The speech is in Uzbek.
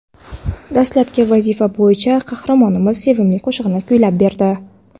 Dastlabki vazifa bo‘yicha qahramonimiz sevimli qo‘shig‘ini kuylab berdi.